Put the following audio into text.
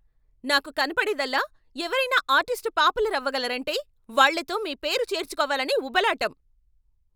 నాకు కనపడేదల్లా ఎవరైనా ఆర్టిస్ట్ పాపులర్ అవ్వగలరంటే వాళ్ళతో మీ పేరు చేర్చుకోవాలనే ఉబలాటం.